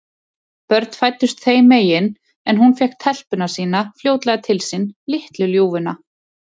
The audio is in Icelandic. Börn fæddust þeim engin, en hún fékk telpuna sína fljótlega til sín, litlu ljúfuna.